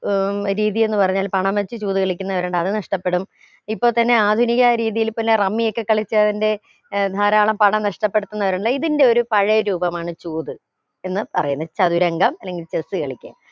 ഏർ രീതി എന്ന് പറഞ്ഞാൽ പണം വെച്ച് ചൂത് കളിക്കുന്നവരുണ്ട് അത് നഷ്ടപ്പെടും ഇപ്പൊ തന്നെ ആധുനിക രീതിയിൽ പിന്നെ റമ്മി ഒക്കെ കാലിച്ചവന്റെ ഏർ ധാരാളം പണം നഷ്ടപ്പെടുത്തുന്നവരുണ്ട് ഇതെന്റെ ഒരു പഴയ രൂപമാണ് ചൂത് എന്ന് പറയുന്നു ചതുരംഗം അല്ലെങ്കി chess കളിക്ക